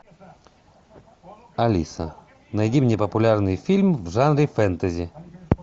алиса найди мне популярный фильм в жанре фэнтези